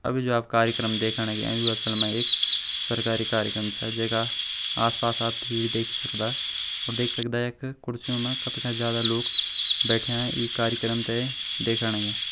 अभि जु आप कार्यक्रम देखण लग्यां यु असल मां एक सरकारी कार्यक्रम छ जेका आस-पास आप भीड़ देखी सकदा और देख सकदा यख कुर्सियों मां कथका ज्यादा लोग बैठ्याँ ये कार्यक्रम ते देखण लाग्यां।